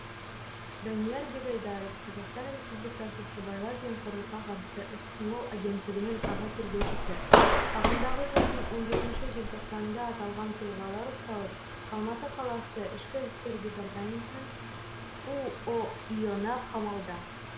данияр бегайдаров қазақстан республикасы сыбайлас жемқорлыққа қарсы іс қимыл агенттігінің аға тергеушісі ағымдағы жылдың он жетінші желтоқсанында аталған тұлғалар ұсталып алматы қаласы іід уұи ына қамалды